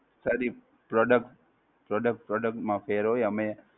Sir ઈ Product, product product માં ફેર હોય અમે,